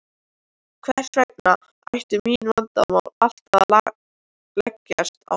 Hvers vegna ættu mín vandamál alltaf að leggjast á hana.